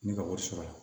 Ne ka wari sɔrɔla